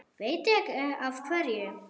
Veit ekki af hverju.